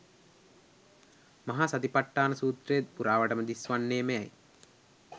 මහා සති පට්ඨාන සූත්‍රය පුරාවටම දිස් වන්නේ මෙයයි.